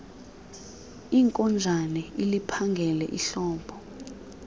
inkonjane iliphangele ihlobo